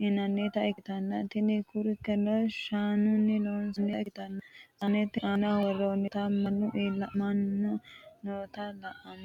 yinannita ikkitanna, tini kurkeno shaanunni loonsonnita ikkitanna, saanete aana worroonnita maankuno iimaho noota la"anni noommo.